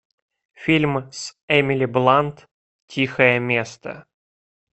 фильм с эмили блант тихое место